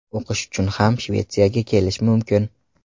O‘qish uchun ham Shvetsiyaga kelish mumkin.